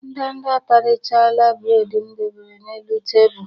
Ndanda atarichaala buredi m debere n'elu tebulu.